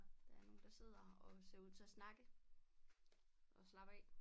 Der er nogen der sidder og ser ud til at snakke og slappe af